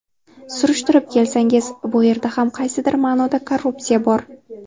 Surishtirib kelsangiz, bu yerda ham qaysidir ma’noda korrupsiya bor.